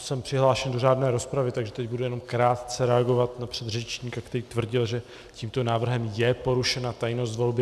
Jsem přihlášen do řádné rozpravy, takže teď budu jenom krátce reagovat na předřečníka, který tvrdil, že tímto návrhem je porušena tajnost volby.